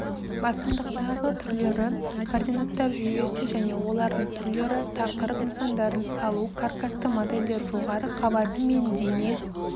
басымдықтағы түрлері координаттар жүйесі және олардың түрлері тақырып нысандарын салу каркасты модельдер жоғары қабаты мен дене